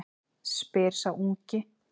spyr sá ungi.